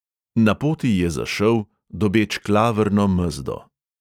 Na poti je zašel, dobeč klavrno mezdo.